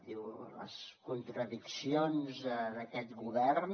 diu les contradiccions d’aquest govern